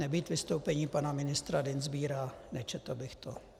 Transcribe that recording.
Nebýt vystoupení pana ministra Dienstbiera, nečetl bych to.